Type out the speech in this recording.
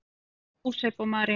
Jósep og María